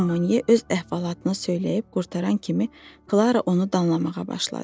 Jean Monnet öz əhvalatını söyləyib qurtaran kimi Klara onu danlamağa başladı.